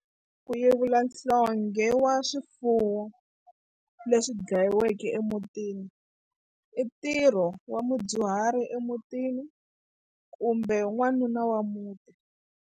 Ku yevula nhlonghe wa swifuwo leswi dlayiweke emutini i ntirho wa mudyuhari emutini kumbe n'wanuna wa muti.